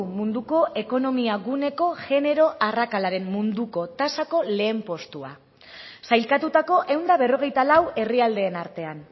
munduko ekonomia guneko genero arrakalaren munduko tasako lehen postua sailkatutako ehun eta berrogeita lau herrialdeen artean